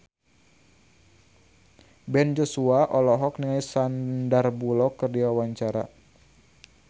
Ben Joshua olohok ningali Sandar Bullock keur diwawancara